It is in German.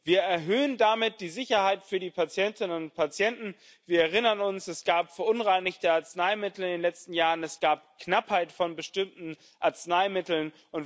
Wir erhöhen damit die Sicherheit für die Patientinnen und Patienten. Wir erinnern uns Es gab verunreinigte Arzneimittel in den letzten Jahren, es gab Knappheit von bestimmten Arzneimitteln.